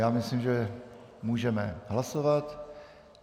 Já myslím, že můžeme hlasovat.